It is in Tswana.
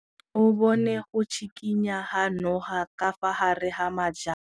O bone go tshikinya ga noga ka fa gare ga majang.